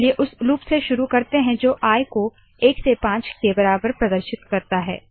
चलिए उस लूप से शुरू करते है जो आई को एक से पाँच के बराबर प्रदर्शित करता है